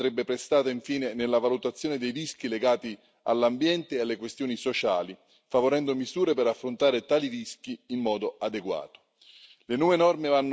Maggiore attenzione andrebbe prestata, infine, alla valutazione dei rischi legati all'ambiente e alle questioni sociali, favorendo misure per affrontare tali rischi in modo adeguato.